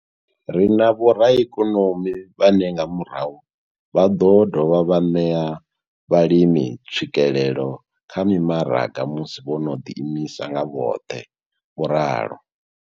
Ri na vho raikonomi vhane nga murahu vha ḓo dovha vha ṋea vhalimi tswikelelo kha mimaraga musi vho no ḓiimisa nga vhoṱhe, vho ralo.